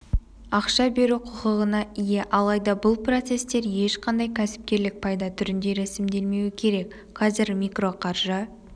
ақша беру құқығына ие алайда бұл процестер ешқандай кәсіпкерлік пайда түрінде рәсімделмеуі керек қазір микроқаржы